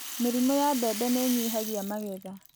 Mĩrimũ ya mbembe nĩ ĩnyihagia maetha